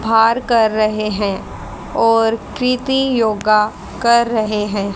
भार कर रहे हैं और क्रिती योगा कर रहे हैं।